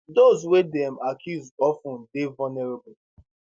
those wey dem accuse of ten dey vulnerable